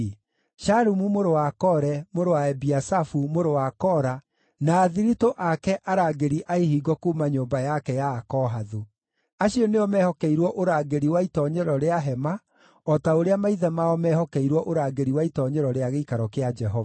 Shalumu mũrũ wa Kore, mũrũ wa Ebiasafu, mũrũ wa Kora, na athiritũ ake arangĩri a ihingo kuuma nyũmba yake ya Akohathu. Acio nĩo meehokeirwo ũrangĩri wa itoonyero rĩa hema o ta ũrĩa maithe mao meehokeirwo ũrangĩri wa itoonyero rĩa Gĩikaro kĩa Jehova.